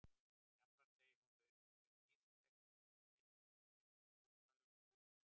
Jafnframt segir að þau dýr sem þekkist undir heitinu búri séu búrhvalur og búrfiskur.